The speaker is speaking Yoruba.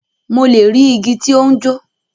Mo le ri igi ti o n jo.